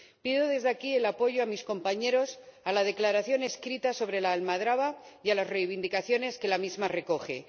Pido desde aquí el apoyo de mis compañeros a la declaración escrita sobre la almadraba y a las reivindicaciones que la misma recoge.